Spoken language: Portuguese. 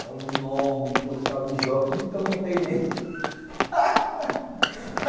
Cavalo enorme, puro cavalo de jockey, nunca montei nele.